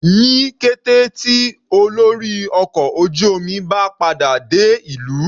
Ní kété tí olórí ọkọ̀ ojú omi bá padà dé ìlú.